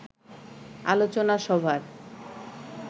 আলোচনা সভার